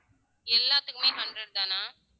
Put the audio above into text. எல்லாத்துக்குமே hundred தானா